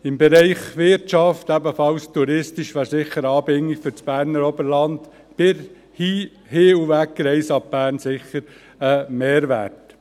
Im Bereich Wirtschaft, ebenfalls touristisch, wäre eine Anbindung für das Berner Oberland, mit Hin- und Wegreise ab Bern, sicher ein Mehrwert.